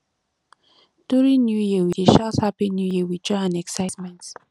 during new year we dey shout happy new year with joy and excitement